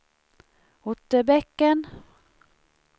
Otterbäcken